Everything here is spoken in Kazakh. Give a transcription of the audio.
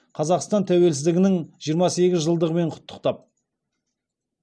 қазақстан тәуелсіздігінің жиырма сегіз жылдығымен құттықтап